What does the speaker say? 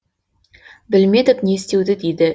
білмедік не істеуді дейді